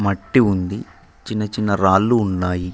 మట్టి ఉంది చిన్నచిన్న రాళ్ళు ఉన్నాయి.